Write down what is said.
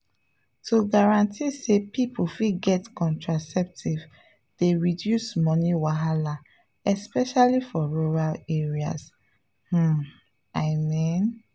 to guarantee say people fit get contraceptives dey reduce money wahala especially for rural areas… pause i mean.